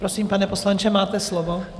Prosím, pane poslanče, máte slovo.